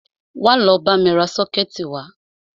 Wá lọ bámi ra sọ́kẹ̀tì wá!